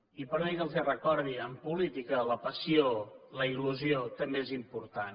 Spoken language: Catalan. i perdoni que els ho recordi en política la passió la il·lusió també és important